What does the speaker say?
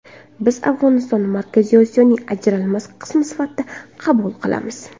Biz Afg‘onistonni Markaziy Osiyoning ajralmas qismi sifatida qabul qilamiz.